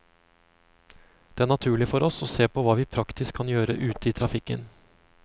Det er naturlig for oss å se på hva vi praktisk kan gjøre ute i trafikken.